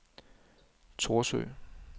Thorsø